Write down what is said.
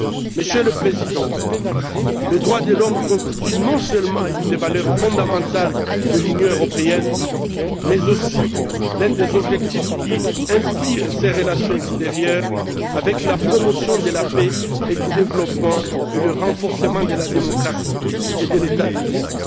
Monsieur le Président, les droits de l'homme constituent non seulement une des valeurs fondamentales de l'Union européenne mais aussi l'un des objectifs qui inspirent ses relations extérieures avec la promotion de la paix et du développement et le renforcement de la démocratie et de l'État de droit.